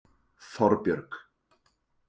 Þorbjörg